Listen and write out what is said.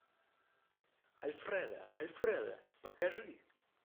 альфредо альфредо покажи